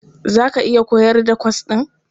Za ka iya koyar da kwas ɗin?